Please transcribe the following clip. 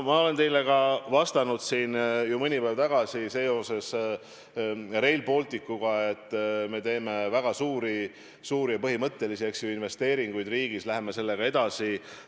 Ma olen teile ka vastanud siin ju mõni päev tagasi seoses Rail Balticuga, et me teeme väga suuri ja põhimõttelisi investeeringuid riigis ja läheme sellega edasi.